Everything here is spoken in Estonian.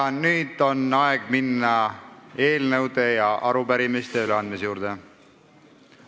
Ja nüüd on aeg minna eelnõude ja arupärimiste üleandmise juurde.